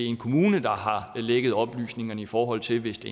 en kommune der har lækket oplysningerne i forhold til hvis det